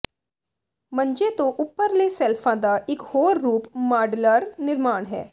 ਮੰਜੇ ਤੋਂ ਉੱਪਰਲੇ ਸ਼ੈਲਫਾਂ ਦਾ ਇਕ ਹੋਰ ਰੂਪ ਮਾਡਲਾਂਰ ਨਿਰਮਾਣ ਹੈ